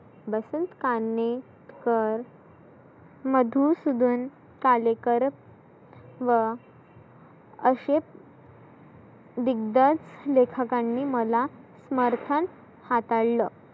वसंत कान्हेकर, मधुसुदन, कालेकर, व असे दिग्दर्शक लेखकांनी मला समर्थन हाताळलं.